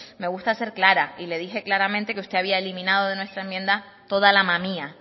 me gusta ser clara y le dije claramente que usted había eliminado de nuestra enmienda toda la mamía